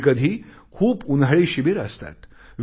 कधीकधी खूप उन्हाळी शिबिरे असतात